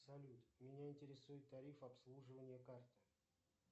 салют меня интересует тариф обслуживания карты